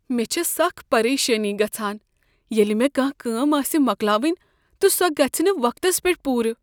مےٚ چھےٚ سخ پریشانی گژھان ییٚلہ مےٚ کانٛہہ کٲم آسہ مۄکلاوٕنۍ تہٕ سۄ گژھِ نہٕ وقتس پیٹھ پوٗرٕ۔